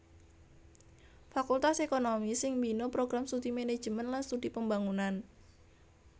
Fakultas ékonomi sing mbina Program Studi Manajemen lan Studi Pembangunan